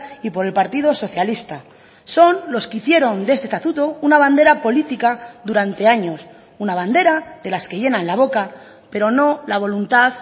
y por el partido socialista son los que hicieron de este estatuto una bandera política durante años una bandera de las que llenan la boca pero no la voluntad